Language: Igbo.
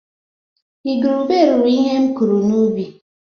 Igurube riri ihe m kụrụ n’ubi